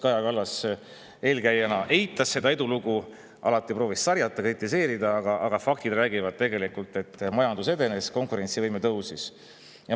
Kaja Kallas teie eelkäijana eitas seda edulugu, alati proovis sarjata, kritiseerida, aga faktid räägivad, et majandus edenes, konkurentsivõime tõusis.